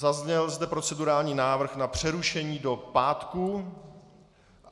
Zazněl zde procedurální návrh na přerušení do pátku.